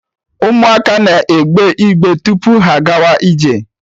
Ụmụaka na-egbe igbe tupu ha agawa ije